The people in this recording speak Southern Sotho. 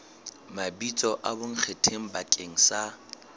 mabitso a bonkgetheng bakeng sa